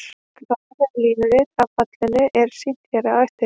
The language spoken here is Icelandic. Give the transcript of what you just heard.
Graf eða línurit af fallinu er sýnt hér á eftir.